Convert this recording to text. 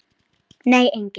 Nei engin.